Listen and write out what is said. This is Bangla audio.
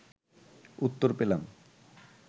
উত্তর পেলাম